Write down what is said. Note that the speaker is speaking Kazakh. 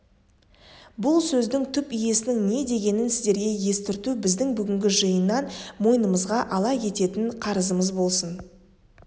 бұл сөздің түп иесінің не дегенін сіздерге естірту біздің бүгінгі жиыннан мойнымызға ала кететін қарызымыз болсын